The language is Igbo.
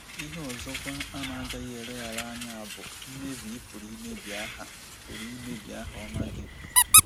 Ihe ọzọkwa a na-agaghị eleghara anya bụ mmebi ị pụrụ imebi aha pụrụ imebi aha ọma gị.